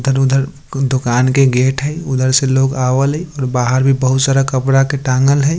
इधर-उधर दुकान के गेट है| उधर से लोग आवल है और बाहर भी बहुत सारा कपड़ा के टँगल है।